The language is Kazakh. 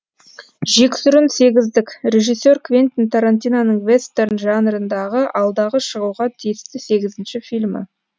жексұрын сегіздік режиссер квентин тарантиноның вестерн жанрындағы алдағы шығуға тиісті сегізінші фильмі